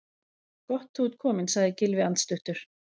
Gott þú ert kominn- sagði Gylfi andstuttur.